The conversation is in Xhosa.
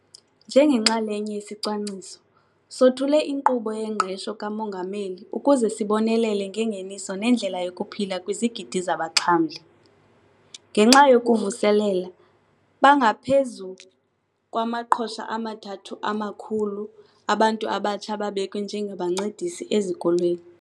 Njengenxalenye yesicwangciso, sothule iNkqubo yeNgqesho kaMongameli ukuze sibonelele ngengeniso nendlela yokuphila kwizigidi zabaxhamli. Ngenxa yokukuvuselela, bangaphezu kwama-300 000 abantu abatsha ababekwe njengabancedisi ezikolweni.